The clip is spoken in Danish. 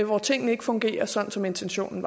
hvor tingene ikke fungerer sådan som intentionen